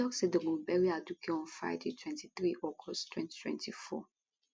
e tok say dem go bury aduke on friday 23 august 2024